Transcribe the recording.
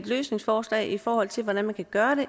løsningsforslag i forhold til hvordan man kan gøre det